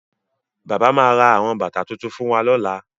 Bàbá ma ra àwọn bàtà tuntun fún wa lọ́la